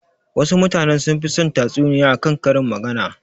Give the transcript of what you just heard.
Wasu mutanen sunfi son tatsuniya a kan karin magana.